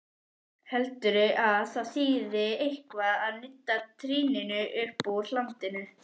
Heldurðu að það þýði eitthvað að nudda trýninu uppúr hlandinu!